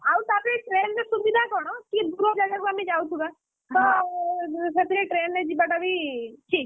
ଆଉ ତାପରେ train ରେ ସୁବିଧା କଣ, କି ଦୂର ଜାଗାକୁ ଆମେ ଯାଉଥିବା ତ ସେଥିରେ train ରେ ଯିବା ଟା ବି ଠିକ୍,